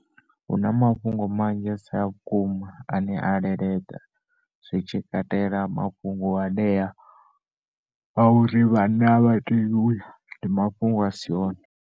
Huna mafhungo manzhi asi a vhukuma ana leleḓa zwitshi katela mafhungo anea a uri vhanna avha tei uya ndi mafhungo a si one.